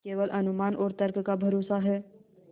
केवल अनुमान और तर्क का भरोसा है